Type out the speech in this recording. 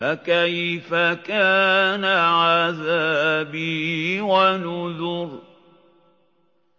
فَكَيْفَ كَانَ عَذَابِي وَنُذُرِ